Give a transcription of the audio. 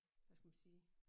Hvad skal man sige